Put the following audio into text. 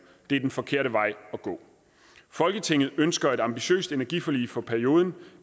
det er den forkerte vej at gå folketinget ønsker et ambitiøst energiforlig for perioden